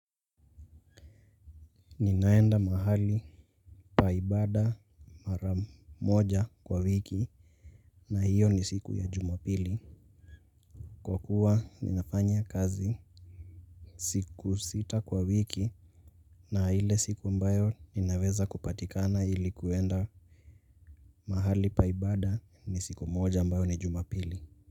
Ninaenda mahali pa ibada mara moja kwa wiki na hiyo ni siku ya jumapili. Kwa kuwa ninafanya kazi siku sita kwa wiki na ile siku ambayo ninaweza kupatikana ilikuenda mahali pa ibada ni siku moja mbayo ni jumapili.